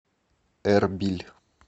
эрбиль